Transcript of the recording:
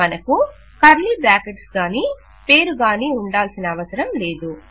మనకు curly brackets గానీ పేరుగానీ ఉండాల్సిన అవసరం లేదు